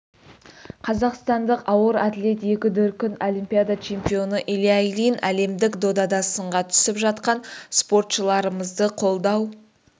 қазақстандық ауыр атлет екі дүркін олимпиада чемпионы илья ильин әлемдік додада сынға түсіп жатқан спортышларымызды қолдау